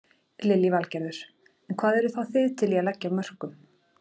Lillý Valgerður: En hvað eruð þá þið til í að leggja af mörkum?